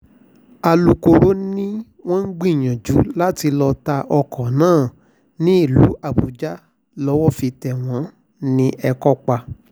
àlùkòòró ni wọ́n ń gbìyànjú láti lọ́ọ ta ọkọ̀ náà nílùú àbújá lowó fi tẹ̀ wọ́n ní ẹ̀kọ́pà